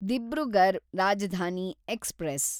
Dibrugarh Rajdhani express